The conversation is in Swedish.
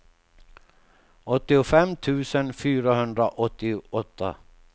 åttiofem tusen fyrahundraåttioåtta